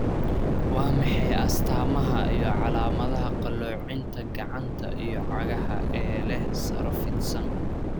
Waa maxay astamaha iyo calaamadaha qalloocinta Gacanta iyo cagaha ee leh saro fidsan?